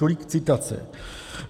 Tolik citace.